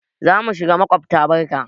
Za mu shiga maƙobta barka.